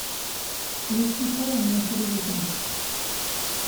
включи холм на телевизоре